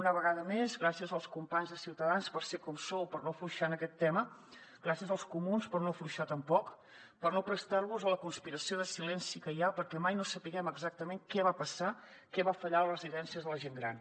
una vegada més gràcies als companys de ciutadans per ser com sou per no afluixar en aquest tema gràcies als comuns per no afluixar tampoc per no prestar vos a la conspiració de silenci que hi ha perquè mai no sapiguem exactament què va passar què va fallar a les residències de la gent gran